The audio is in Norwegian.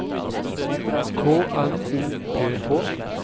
K N O P H